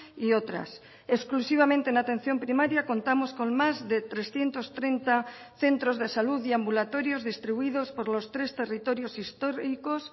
y otras exclusivamente en atención primaria contamos con más de trescientos treinta centros de salud y ambulatorios distribuidos por los tres territorios históricos